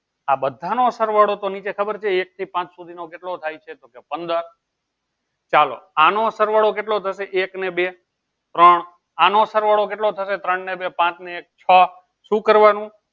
આ બધાનો સરવાળો તો નીચે ખબર છે એક થી પાંચ સુધીનો કેટલો થાય છે તો કે પંદર ચાલો આનો સરવાળો કેટલો થશે એક અને બે ત્રણ આનો સરવાળો કેટલો થશે ત્રણ ને બે પાંચ ને એક છ શું કરવાનું?